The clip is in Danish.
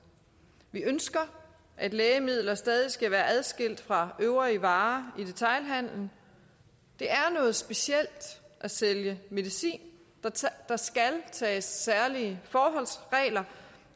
vi ønsker at lægemidler stadig skal være adskilt fra øvrige varer i detailhandelen det er noget specielt at sælge medicin der skal tages særlige forholdsregler